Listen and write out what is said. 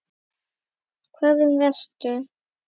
Hvað um vestur?